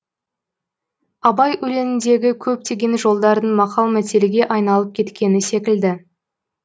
абай өлеңіндегі көптеген жолдардың мақал мәтелге айналып кеткені секілді